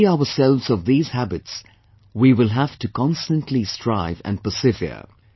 To free ourselves of these habits we will have to constantly strive and persevere